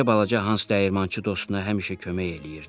Beləcə balaca Hans dəyirmançı dostuna həmişə kömək eləyirdi.